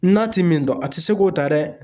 N'a ti min dɔn a ti se k'o ta dɛ